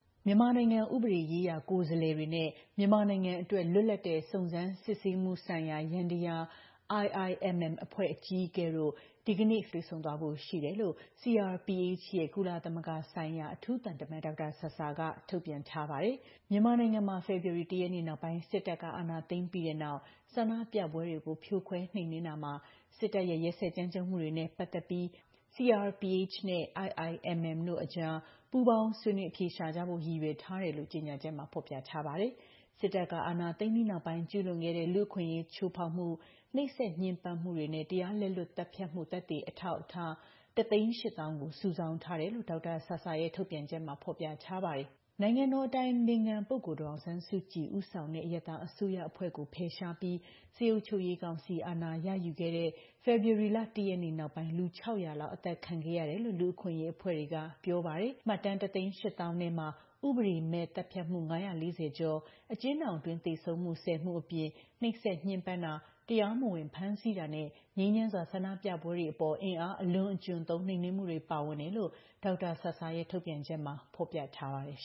မြန်မာနိုင်ငံ ဥပဒေရေးရာကိုယ်စားလှယ်တွေနဲ့ မြန်မာနိုင်ငံအတွက် လွတ်လပ်တဲ့ စုံစမ်းစစ်ဆေးမှု ဆိုင်ရာ ယန္တယား IIMM အဖွဲ့ အကြီးအကဲတို့ ဒီကနေ့ ဧပြီလ ၇ ရက်နေ့မှာ တွေ့ဆုံသွားဖို့ရှိတယ်လို့ CRPH ရဲ့ ကုလသမဂ္ဂဆိုင်ရာ အထူးသံတမန် ဒေါက်တာဆာဆာက ထုတ်ပြန်ထားပါတယ်။ ဒီလိုတွေ့ဆုံမှုကို CRPH ကတဆင့် ဆောင်ရွက်တာလို့လည်း ဖော်ပြထားပါတယ်။မြန်မာနိုင်ငံမှာ ဖေဖော်ဝါရီလ ၁ ရက်နေ့ နောက်ပိုင်း စစ်တပ်က အာဏာသိမ်းပြီးတဲ့နောက် ဆန္ဒပြပွဲတွေကိုဖြိုခွဲနှိမ်နှင်းတာမှာ စစ်တပ်ရဲ့ ရက်စက်ကြမ်းကြုတ်မှုတွေနဲ့ ပတ်သက်ပြီး CRPH နဲ့ IIMM တို့ကြား ပူးပေါင်းဆွေးနွေး အဖြေရှာကြဖို့ ရည်ရွယ်ထားတယ်လို့ ကြေညာချက်မှာ ဖော်ပြထားပါတယ်။ စစ်တပ်က အာဏာသိမ်းပြီးနောက်ပိုင်း ကျုးလွန်ခဲ့တဲ့ လူ့အခွင့်အရးချိုးဖေါက်မှု၊ နှိပ်စက်ညှဉ်းပန်းမှုတွေနဲ့ တရားလက်လွတ် သတ်ဖြတ်မှု သက်သေအထောက်အထား ၁၈၀,၀၀၀ ကို စုဆောင်းထားတယ်လို့လည်း ဒေါက်တာဆာဆာရဲ့ ထုတ်ပြန်ချက်မှာ ဖော်ပြထားပါတယ်။ နိုင်ငံတော်အတိုင်ပင်ခံ ပုဂ္ဂိုလ် ဒေါ်အောင်ဆန်းစုကြည်ဦးဆောင်တဲ့ အရပ်သားအစိုးရအဖွဲ့ကို ဖယ်ရှားပြီး စစ်အုပ်ချုပ်ရေးကောင်စီ အာဏာရယူခဲ့တဲ့ ဖေဖေါ်ဝါရီလ ၁ ရက်နေ့နောက်ပိုင်း လူ ၆၀၀ လောက် အသတ်ခံခဲ့ရတယ်လို့ လူ့အခွင့်အရေးအဖွဲ့တွေက ပြောပါတယ်။ မှတ်တမ်း ၁၈၀,၀၀၀ ထဲမှာ ဥပဒေမဲ့သတ်ဖြတ်မှု ၅၄၀ ကျော်၊ အကျဉ်းထောင်အတွင်း သေဆုံးမှု ၁၀ မှု အပြင် နှိပ်စက်ညှဉ်းပန်းတာ၊ တရားမဝင် ဖမ်းဆီးတာနဲ့ ငြိမ်းချမ်းစွာ ဆန္ဒပြပွဲတွေအပေါ် အင်အားအလွန်အကျွံသုံး နှိမ်နှင်းမှုတွေ ပါဝင်တယ်လို့ ဒေါက်တာဆာဆာရဲ့ ထုတ်ပြန်ချက်မှာ ဖော်ပြထားပါတယ်